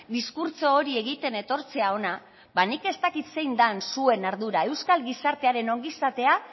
diskurtso hori egiten etortzea hona ba nik ez dakit zein den zuen ardura euskal gizartearen ongizatea